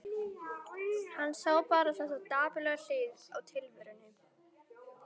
Hann sá bara þessa dapurlegu hlið á tilverunni.